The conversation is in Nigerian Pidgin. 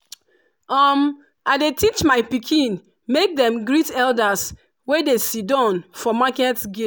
um i dey teach my pikin make dem dey greet elders wey dey sidon for market gate.